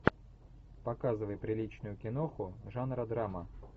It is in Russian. показывай приличную киноху жанра драма